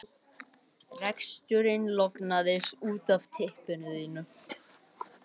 Reksturinn lognaðist út af næstu vikurnar.